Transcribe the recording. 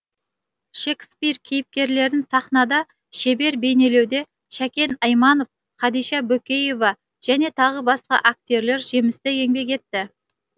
шекспир кейіпкерлерін сахнада шебер бейнелеуде шәкен айманов хадиша бөкеева және тағы басқа актерлер жемісті еңбек етті